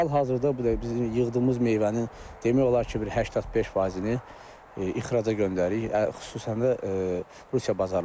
Hal-hazırda biz yığdığımız meyvənin demək olar ki, bir 85%-ni ixraca göndəririk, xüsusən də Rusiya bazarlarına.